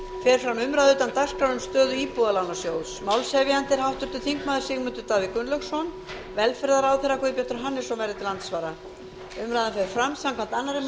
fer fram umræða utan dagskrár um stöðu íbúðalánasjóðs málshefjandi er háttvirtur þingmaður sigmundur davíð gunnlaugsson velferðarráðherra guðbjartur hannesson verður til andsvara umræðan fer fram samkvæmt annarri